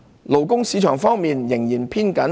勞工市場方面仍然偏緊。